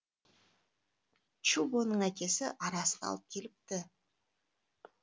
чубоның әкесі арасын алып келіпті